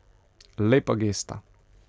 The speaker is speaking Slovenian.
Lepa gesta ...